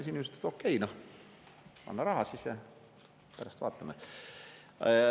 Ja inimesd ütlesid, et okei, anna raha, pärast vaatame.